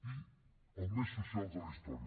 i els més socials de la història